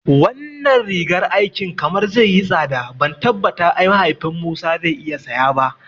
Wannan rigar aikin kamar zai yi tsada ban tabbata mahaifin Musa zai iya saya ba